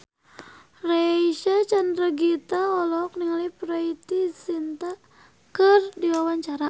Reysa Chandragitta olohok ningali Preity Zinta keur diwawancara